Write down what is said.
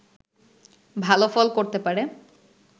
ভালো ফল করতে পারে